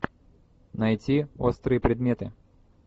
найти острые предметы